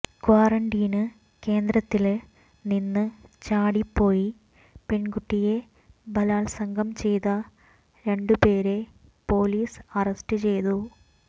ക്വാറന്റീന് കേന്ദ്രത്തില് നിന്ന് ചാടിപ്പോയി പെൺകുട്ടിയെ ബലാൽസംഗം ചെയ്ത രണ്ടുപേരെ പൊലീസ് അറസ്റ്റ് ചെയ്തു